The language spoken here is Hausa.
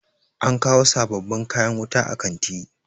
an kawo sababbin kayan wuta a kanti